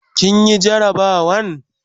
kin Yi garabawan?